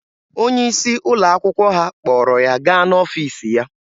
Onye isi ụlọ akwụkwọ ha kpọrọ ya gaa n'ọfiisi ya.